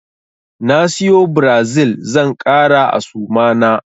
Na siyo Brazil zan ƙara a suma na.